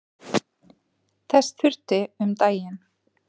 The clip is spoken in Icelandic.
Þess þurfti um daginn.